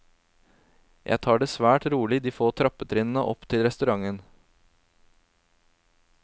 Jeg tar det svært rolig de få trappetrinnene opp til restauranten.